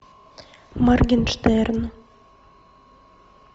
моргенштерн